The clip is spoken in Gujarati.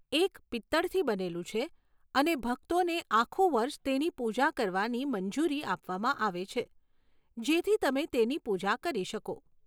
એક પિત્તળથી બનેલું છે અને ભક્તોને આખું વર્ષ તેની પૂજા કરવાની મંજૂરી આપવામાં આવે છે, જેથી તમે તેની પૂજા કરી શકો.